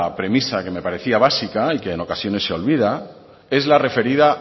premisa que me parecía básica y que en ocasiones se olvida es la referida